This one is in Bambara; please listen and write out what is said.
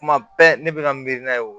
Kuma bɛɛ ne bɛ ka miiri n'a ye wo